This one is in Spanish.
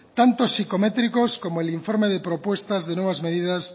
tanto psicométricos como el informe de propuestas de nuevas medidas